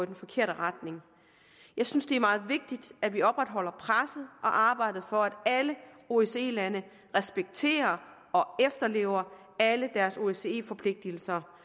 den forkerte retning jeg synes det er meget vigtigt at vi opretholder presset og arbejdet for at alle osce lande respekterer og efterlever alle deres osce forpligtelser